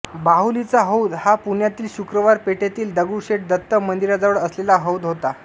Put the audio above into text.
बाहुलीचा हौद हा पुण्यातील शुक्रवार पेठेतील दगडूशेठ दत्त मंदिराजवळ असलेला हौद होता